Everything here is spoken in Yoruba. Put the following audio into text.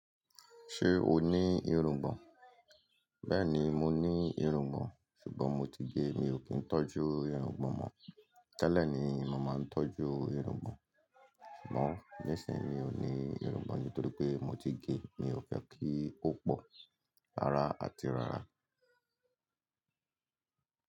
Ṣé o ní irungbọ̀n? Bẹ́ẹ̀ni, mo ní irungbọ̀n, ṣùgbọ́n mo ti gé e. Mi ò kí ń tọ́jú irungbọ̀n mọ́. Tẹ́lẹ̀ ni mo màá máa ń tọ́jú irungbọ̀n, ṣùgbọ́n nísìínyi mí ò ní irungbọ̀n nítorí pé mo ti gé e. Mi ò fẹ́ kí ó pọ̀, rara àti rara.